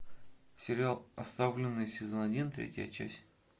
сериал оставленные сезон один третья часть